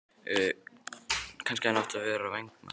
Kannski hefði hann átt að vera vængmaður?